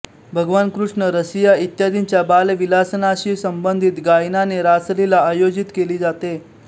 भगवान कृष्ण रसिया इत्यादींच्या बाल विलासनाशी संबंधित गायनाने रासलीला आयोजित केली जाते